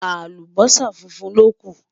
àlùbósà fúnfún ló kú